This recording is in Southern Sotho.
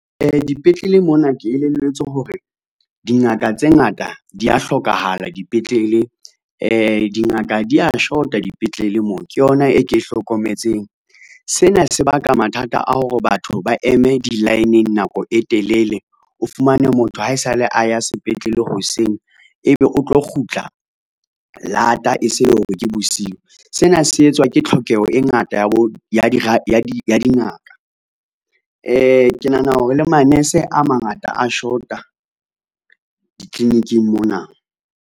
Dipetlele mona ke elelletswe hore dingaka tse ngata di a hlokahala dipetlele, dingaka di a shota dipetlele moo ke yona e ke hlokometseng. Sena se baka mathata a hore batho ba eme di-line nako e telele, o fumane motho haesale a ya sepetlele hoseng, ebe o tlo kgutla lata e se e le hore ke bosiu, sena se etswa ke tlhokeho e ngata ya dingaka. Ke nahana hore le manese a mangata a shota ditliliniking mona.